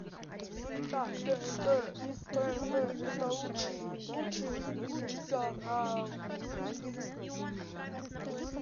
так тнт тнт это лучший лучший лучший канал